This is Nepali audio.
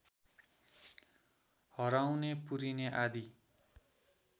हराउने पुरिने आदि